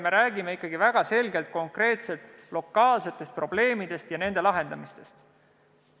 Me räägime ikkagi väga selgelt konkreetsetest lokaalsetest probleemidest ja nende lahendamisest.